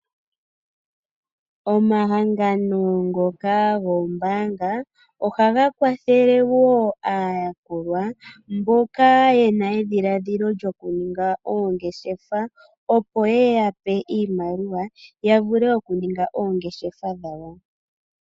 Omahangano ngoka goombaanga, ohaga kwathele wo aayakulwa mboka yena edhiladhilo lyokuninga oongeshefa, moku yapa iimaliwa, opo yavule okuninga oongeshefa dhawo.